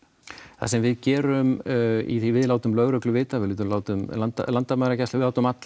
það sem við gerum í því við látum lögreglu vita við látum látum landamæragæslu við látum alla